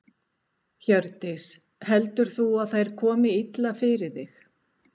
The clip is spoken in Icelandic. Hjördís: Heldur þú að þær komi illa fyrir þig?